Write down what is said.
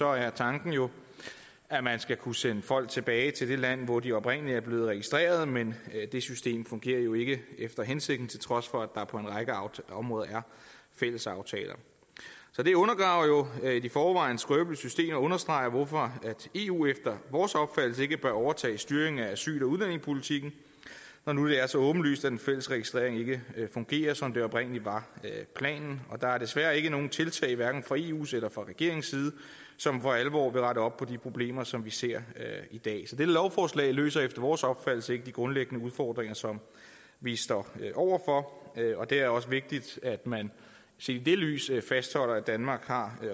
er tanken jo at man skal kunne sende folk tilbage til det land hvor de oprindelig er blevet registreret men det system fungerer jo ikke efter hensigten til trods for at der på en række aftalte områder er fælles aftaler så det undergraver jo et i forvejen skrøbeligt system og understreger hvorfor eu efter vores opfattelse ikke bør overtage styringen af asyl og udlændingepolitikken når nu det er så åbenlyst at den fælles registrering ikke fungerer som det oprindelig var planen og der er desværre ikke nogen tiltag fra eus eller regeringens side som for alvor vil rette op på de problemer som vi ser i dag så dette lovforslag løser efter vores opfattelse ikke de grundlæggende udfordringer som vi står over for og det er også vigtigt at man set i det lys fastholder at danmark har